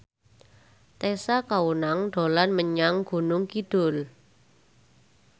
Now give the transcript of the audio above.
Tessa Kaunang dolan menyang Gunung Kidul